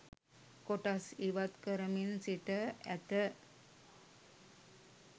කොටස් ඉවත් කරමින් සිට ඇත